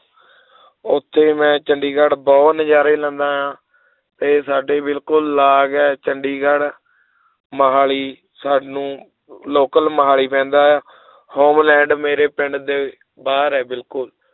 ਉੱਥੇ ਮੈਂ ਚੰਡੀਗੜ੍ਹ ਬਹੁਤ ਨਜ਼ਾਰੇ ਲੈਂਦਾ ਹਾਂ ਤੇ ਸਾਡੇ ਬਿਲਕੁਲ ਲਾਗ ਹੈ ਚੰਡੀਗੜ੍ਹ ਮੁਹਾਲੀ ਸਾਨੂੰ local ਮੁਹਾਲੀ ਪੈਂਦਾ ਹੈ ਹੋਲੈਂਡ ਮੇਰੇ ਪਿੰਡ ਦੇ ਬਾਹਰ ਹੈ ਬਿਲਕੁਲ